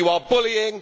you are bullying